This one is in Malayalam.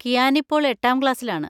കിയാൻ ഇപ്പോൾഎട്ടാം ക്ലാസ്സിലാണ്.